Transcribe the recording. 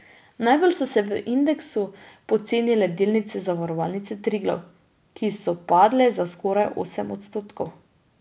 Najbolj so se v indeksu pocenile delnice Zavarovalnice Triglav, ki so padle za skoraj osem odstotkov.